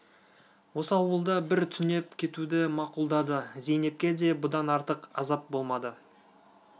осы ауылда бір түнеп кетуді мақұлдады зейнепке де бұдан артық азап болмады